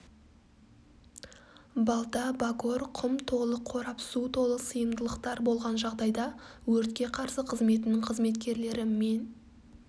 балта багор құм толы қорап су толы сыйымдылықтар болған жағдайда өртке қарсы қызметінің қызметкерлері мен